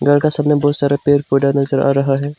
घर का सामने बहुत सारा पेड़ पौधा नजर आ रहा है।